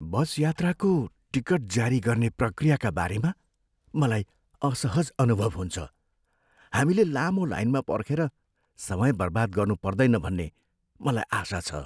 बसयात्राको ticket जारी गर्ने प्रक्रियाका बारेमा मलाई असहज अनुभव हुन्छ, हामीले लामो लाइनमा पर्खेर समय बर्बाद गर्नुपर्दैन भन्ने मलाई आशा छ।